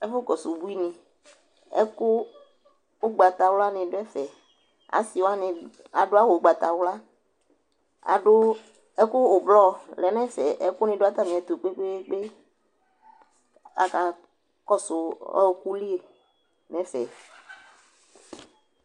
Ɛfʋkɔsʋ ubuinɩ Ɛkʋ ʋgbatawlanɩ dʋ ɛfɛ Asɩ wanɩ adʋ awʋ ʋgbatawla kʋ adʋ ɛkʋ ʋblɔ lɛ nʋ ɛfɛ Ɛkʋnɩ dʋ atamɩɛtʋ kpe-kpe-kpe Akakɔsʋ ɔɣɔkʋ li nʋ ɛfɛ